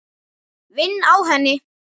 Vinn á henni.